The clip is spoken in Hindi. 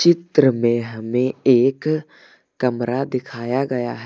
चित्र में हमें एक कमरा दिखाया गया है।